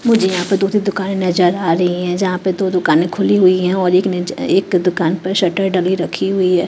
मुझे यहाँ पे दो ठो दुकानें नजर आ रही है जहाँ पे दो दुकानें खुली हुई है और एक नज एक दुकान पर शटर डली रखी हुई हैं।